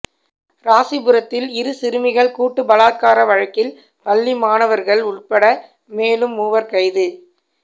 ராசிபுரத்தில் இரு சிறுமிகள் கூட்டு பலாத்கார வழக்கில் பள்ளி மாணவா்கள் உள்பட மேலும் மூவா் கைது